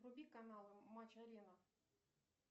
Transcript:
вруби канал матч арена